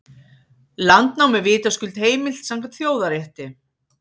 Landnám er vitaskuld heimilt samkvæmt þjóðarétti.